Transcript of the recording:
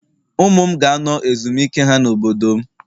Ụmụ m ga-anọ ezumike ha na obodo m